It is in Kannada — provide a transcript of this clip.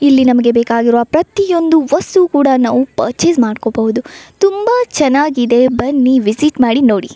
ಇಲ್ಲಿ ನಮಗೆ ಬೇಕಾಗಿರುವ ಪ್ರತಿಯೊಂದು ವಸ್ತುವು ಕೂಡ ನಾವು ಪರ್ಚೆಸ್ ಮಾಡಕೋಬಹುದು ತುಂಬಾ ಚನ್ನಾಗಿದೆ ಬನ್ನಿ ವಿಸಿಟ್ ಮಾಡಿ ನೋಡಿ.